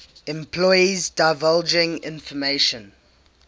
employees divulging information